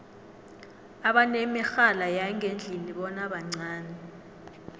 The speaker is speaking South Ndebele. abanemirhala yangendlini bona bancani